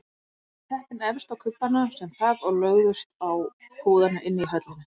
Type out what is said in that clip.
Settu teppin efst á kubbana sem þak og lögðust á púðana inni í höllinni.